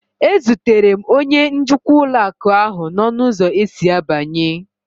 E zutere m onye njikwa ụlọ akụ ahu n'ọnụ ụzọ esi abanye